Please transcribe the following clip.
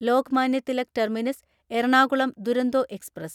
Lokmanya Tilak terminus Ernakulam Duronto express